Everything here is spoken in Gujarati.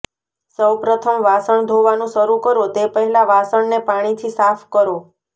સૌપ્રથમ વાસણ ધોવાનું શરૂ કરો તે પહેલા વાસણને પાણીથી સાફ કરો